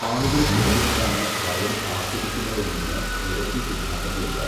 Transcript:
ആളുകൾ എന്തുകൊണ്ടാണ് ഭയം ആസ്വദിക്കുന്നതെന്നതിന് നിരവധി സിദ്ധാന്തങ്ങളുണ്ട്.